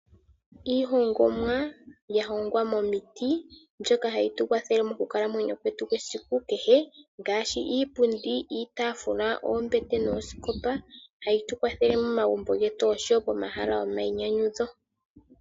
Iihongomwa ya hongwa momiti mbyoka hayi tu kwathele mokukalamwenyo kwetu kwesiku kehe ngaashi iipundi, iitaafula, oombete noosikopa, hayi tu kwathele momagumbo getu osho wo pomahala gomayinyanyudho.